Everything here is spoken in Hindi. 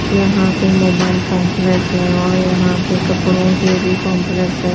यहां पे मोबाइल कंपलेक्स है और यहां पर कपड़ों के भी कंपलेक्स है।